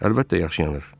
Əlbəttə, yaxşı yanır.